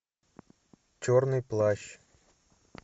черный плащ